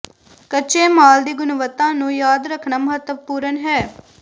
ਕੱਚੇ ਮਾਲ ਦੀ ਗੁਣਵੱਤਾ ਨੂੰ ਯਾਦ ਰੱਖਣਾ ਮਹੱਤਵਪੂਰਨ ਹੈ